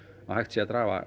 að hægt sé að draga